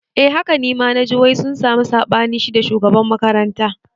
Eh haka naji nima wai sun sami saɓani shida shugaban makaranta